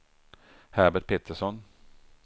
Herbert Pettersson